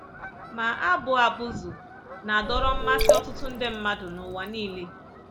Ma, abụ abụzụ na-adọrọ mmasị ọtụtụ nde mmadụ n’ụwa nile.